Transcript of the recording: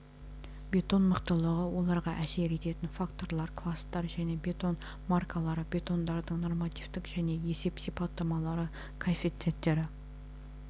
бетон мықтылығы оларға әсер ететін факторлар кластар және бетон маркалары бетондардың нормативтік және есеп сипаттамалары коэффициенттері